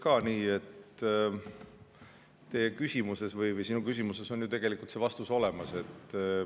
No ma ütleksin nii, et sinu küsimuses on ju tegelikult vastus olemas.